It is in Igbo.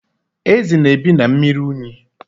Ezi na-ebi na mmiri unyi.